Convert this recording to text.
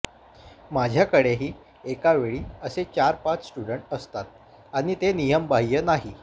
माझ्याकडेही एकावेळी असे चार पाच स्टूडंट असतात आणि ते नियमबाह्य नाही